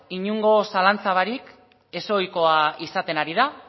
inongo zalantzarik gabe ezohikoa izaten ari da